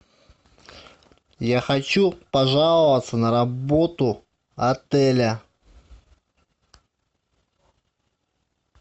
я хочу пожаловаться на работу отеля